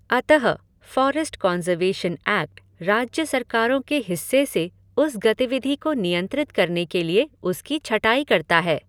अतः forest conservation act राज्य सरकारों के हिस्से से उस गतिविधि को नियंत्रित करने के लिए उसकी छटाई करता है।